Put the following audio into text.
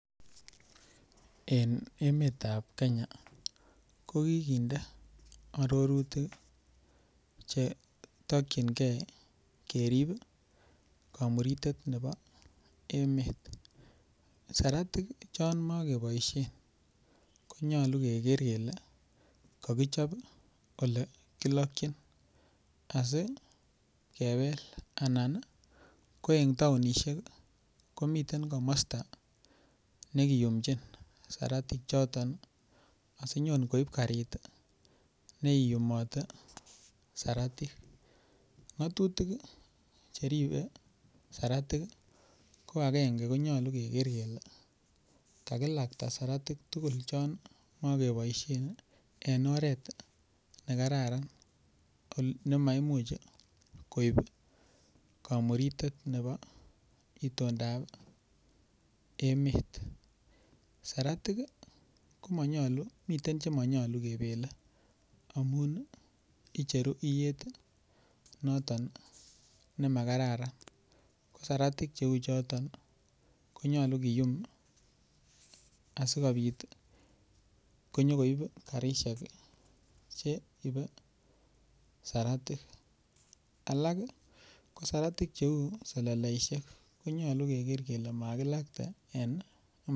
En emetab Kenya kokikinde arorutik chetokchingei kerip kamuritet nebo emet saratik chon makeboishe konyolu keker kele kakichop ole kilokchin asikebel anan ko en taonishek komiten komosta nekiyumjin saratik choton asinyon koib karit neiyumatei saratik ng'atutik cheribei saratik ko agenge konyolu keker kele kakilakta saratik tugul chon makeboishen en oret nekararan nemaimuch koib kamuritet nebo itondaab emet saratik komanyolu miten chemanyolu kebelen amun icheru iyet noton nemakataran ko saratik cheu choton konyolu kiyum asikobit konyikoib karishek cheibe saratik alak ko saratik cheu seleleishek konyolu keker kele makilakta en